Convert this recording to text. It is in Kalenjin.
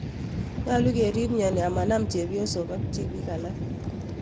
Nyolu kerip myoni amanap chepyosok ak tipiik alak